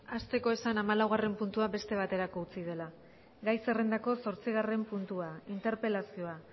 hasteko esan hamalaugarren puntua beste baterako utzi dela gai zerrendako zortzigarren puntua interpelazioa